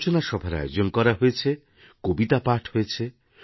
আলোচনা সভার আয়োজন করা হয়েছে কবিতা পাঠ হয়েছে